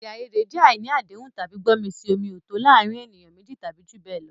Èdè àìyedè jẹ́ àìní àdéhùn tàbí gbọ́mi-sí-omi-ò-tó o láàárín ènìyàn méjì tàbí jù bẹ́ẹ̀ lọ.